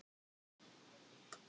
Áar og vatn